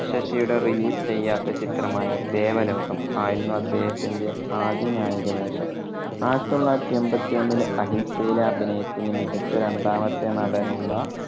ശശിയുടെ release ചെയ്യാത്ത ചിത്രമായ ദേവലോകം ആയിരുന്നു അദ്ദേഹത്തിന്റെ ആദ്യ നായക വേഷം. ആയിരത്തി തൊള്ളായിരത്തി എൺപത്തൊന്നിലെ അഹിംസയിലെ അഭിനയത്തിന്‌ മികച്ച രണ്ടാമത്തെ നടനുള്ള